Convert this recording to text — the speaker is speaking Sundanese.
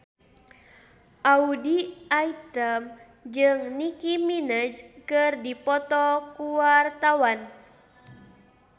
Audy Item jeung Nicky Minaj keur dipoto ku wartawan